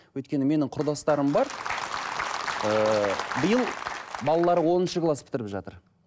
өйткені менің құрдастарым бар ыыы биыл балалары оныншы класс бітіріп жатыр